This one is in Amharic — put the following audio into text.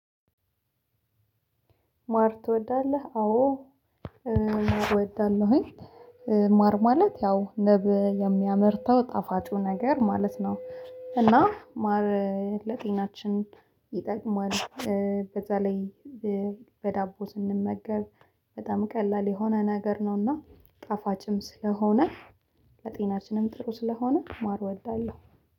ማር ትወዳለህ? አዎ ማር እወዳለሁኝ። ማር ማለት ያው ንብ የሚያመርተው ጣፋጩ ነገር ማለት ነው። እና ማር ለጤናችን ይጠቅማል። በዛ ላይ በዳቦ ስንመገብ በጣም ቀላል የሆነ ነገር ነውና ጣፋጭም ስለሆነ ለጤናችንም ጥሩ ስለሆነ ማር እወዳለሁ